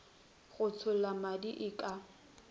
go tšhollwa madi e ka